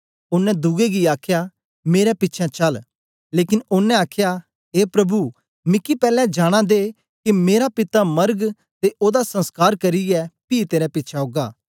ओनें दुए गी आखया मेरे पिछें चल लेकन ओनें आखया ऐ प्रभु मिकी पैलैं जानां दे के मेरा पिता मरग ते ओदा संस्कार करियै पी तेरे पिछें औगा